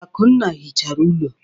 Akunna hichara ụlọ.